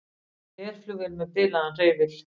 Herflugvél með bilaðan hreyfil